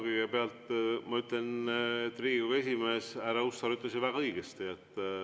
Kõigepealt ma ütlen, et Riigikogu esimees härra Hussar ütles väga õigesti.